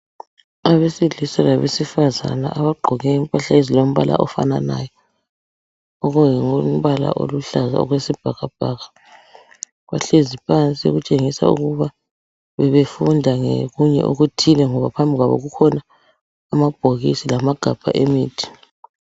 Abesilisa labesifazana, abagqoke impahla ezilombala ofananayo. Okungumbala oluhlaza okwesibhakabhaka. Bahlezi phansi okutshengisa ukuba bebefunda ngokunye okuthile, ngoba phambi kwabo kukhona, amaphilisi, lamagabha emithi.